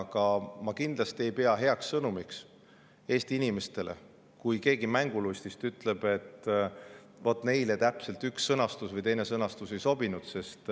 Aga ma kindlasti ei pea heaks sõnumiks Eesti inimestele seda, kui keegi mängulustist ütleb, et vot täpselt üks sõnastus või teine sõnastus ei sobi.